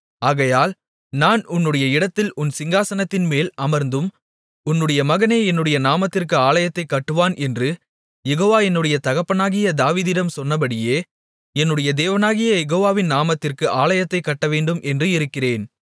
ஆகையால் நான் உன்னுடைய இடத்தில் உன் சிங்காசனத்தின்மேல் அமர்த்தும் உன்னுடைய மகனே என்னுடைய நாமத்திற்கு ஆலயத்தைக் கட்டுவான் என்று யெகோவா என்னுடைய தகப்பனாகிய தாவீதிடம் சொன்னபடியே என்னுடைய தேவனாகிய யெகோவாவின் நாமத்திற்கு ஆலயத்தைக் கட்டவேண்டும் என்று இருக்கிறேன்